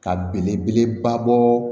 Ka belebeleba bɔ